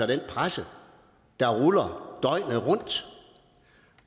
den presse der ruller døgnet rundt